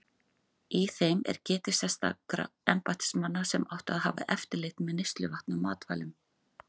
Í þeim er getið sérstakra embættismanna sem áttu að hafa eftirlit með neysluvatni og matvælum.